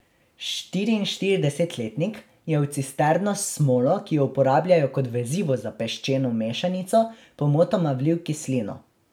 Štiriinštiridesetletnik je v cisterno s smolo, ki jo uporabljajo kot vezivo za peščeno mešanico, pomotoma vlil kislino.